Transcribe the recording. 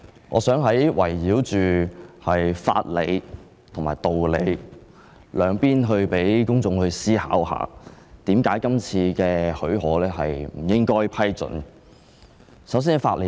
我想圍繞着法理和道理兩方面發言，讓公眾思考為何不應給予許可。